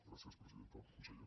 gràcies presidenta conseller